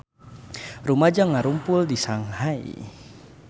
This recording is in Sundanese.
Rumaja ngarumpul di Shanghai